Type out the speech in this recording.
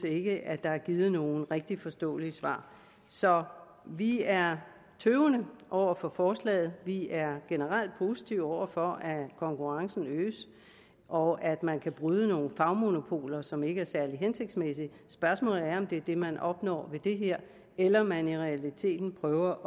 ikke at der er givet nogen rigtig forståelige svar så vi er tøvende over for forslaget vi er generelt positive over for at konkurrencen øges og at man kan bryde nogle fagmonopoler som ikke er særlig hensigtsmæssige spørgsmålet er om det er det man opnår ved det her eller om man i realiteten prøver